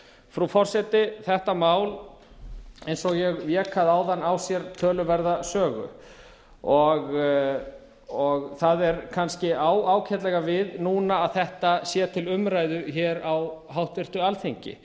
frú forseti þetta mál eins og ég vék að áðan á sér töluverða sögu það á kannski ágætlega við núna að þetta sé til umræðu hér á háttvirtu alþingi